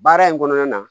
Baara in kɔnɔna na